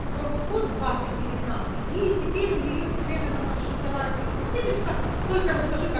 промокод двадцать девятнадцать и теперь у нее всё время на наши товары будет скидочка только расскажи как